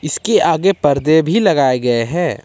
इसके आगे पर्दे भी लगाए गए हैं।